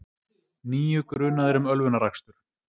Níu grunaðir um ölvunarakstur